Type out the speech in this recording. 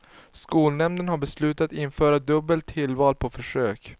Skolnämnden har beslutat införa dubbelt tillval på försök.